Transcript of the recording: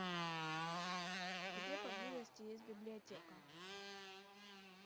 где поблизости есть библиотека